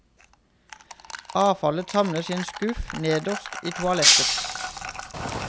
Avfallet samles i en skuff nederst i toalettet.